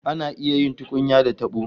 Ana iya yin tukunya da tabo